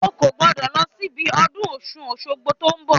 O kò gbọ́dọ̀ lọ síbi ọdún Ọ̀ṣun-Òṣogbo tó ń bọ̀